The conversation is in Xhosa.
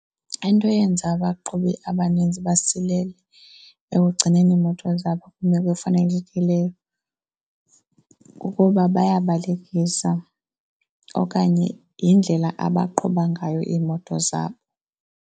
Into eyenza abaqhubi abanintsi basilele ekugcineni iimoto zabo kwimeko efanelekileyo kukuba bayabalekisa okanye yindlela abaqhuba ngayo iimoto zabo.